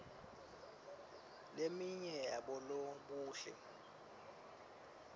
leminye yabolobuhle